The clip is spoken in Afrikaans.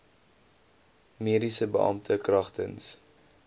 mediese beampte kragtens